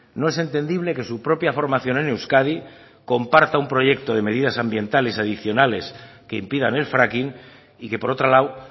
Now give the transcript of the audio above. no es entendible que su propia formación en euskadi comparta un proyecto de medidas ambientales adicionales que impidan el fracking y que por otro lado